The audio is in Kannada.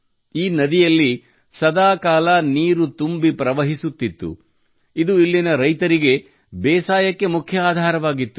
ಈ ನದಿಯಲ್ಲಿ ಸದಾಕಾಲವು ನೀರು ತುಂಬಿ ಪ್ರವಹಿಸುತ್ತಿತ್ತು ಇದು ಇಲ್ಲಿನ ರೈತರಿಗೆ ಬೇಸಾಯಕ್ಕೆ ಮುಖ್ಯ ಆಧಾರವಾಗಿತ್ತು